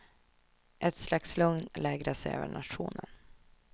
Ett slags lugn lägrade sig över nationen.